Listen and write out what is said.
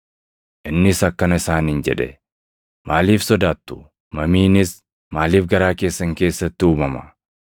Innis akkana isaaniin jedhe; “Maaliif sodaattu? Mamiinis maaliif garaa keessan keessatti uumama?